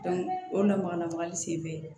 o lamagalamagali sen bɛ